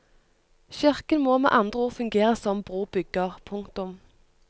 Kirken må med andre ord fungere som brobygger. punktum